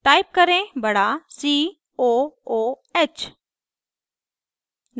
type करें बड़ा c o o h